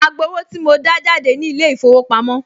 Màá gbowó tí mo dá jáde ní ilé-ìfowópamọ́